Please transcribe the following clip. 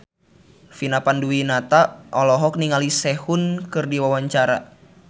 Vina Panduwinata olohok ningali Sehun keur diwawancara